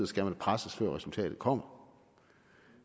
skal presses før resultatet kommer